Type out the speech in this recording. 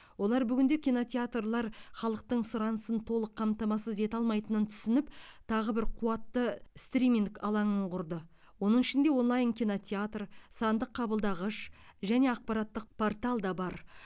олар бүгінде кинотеатрлар халықтың сұранысын толық қамтамасыз ете алмайтынын түсініп тағы бір қуатты стриминг алаңын құрды оның ішінде онлайн кинотеатр сандық қабылдағыш және ақпараттық портал да бар